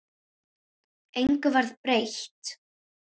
Engu varð breytt.